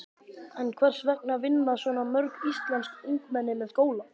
En hvers vegna vinna svona mörg íslensk ungmenni með skóla?